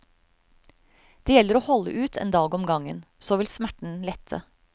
Det gjelder å holde ut en dag om gangen, så vil smerten lette.